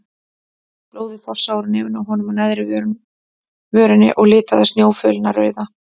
Blóðið fossaði úr nefinu á honum og neðri vörinni og litaði snjófölina rauða.